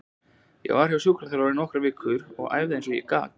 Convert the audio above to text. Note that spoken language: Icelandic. Ég var hjá sjúkraþjálfara í nokkrar vikur og æfði eins og ég gat.